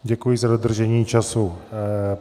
Děkuji za dodržení času.